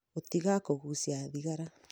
gũtiga kũgucia thigara